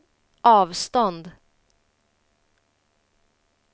avstånd